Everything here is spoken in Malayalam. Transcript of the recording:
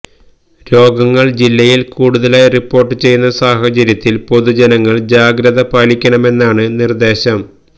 രോഗങ്ങള് ജില്ലയില് കൂടുതലായി റിപ്പോര്ട്ട് ചെയ്യുന്ന സാഹചര്യത്തില് പൊതുജനങ്ങള് ജാഗ്രത പാലിക്കണമെന്നാണ് നിര്ദ്ദേശം